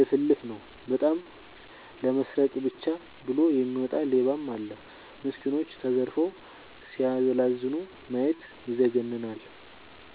ልፍልፍ ነው። በጣም ለመስረቃ ብቻ ብሎ የሚወጣ ሌባም አለ። ሚስኩኖች ተዘርፈው ሲያላዝኑ ማየት ይዘገንናል።